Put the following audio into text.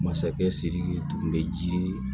Masakɛ siriki tun bɛ jiri